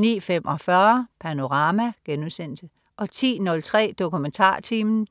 09.45 Panorama* 10.03 DokumentarTimen*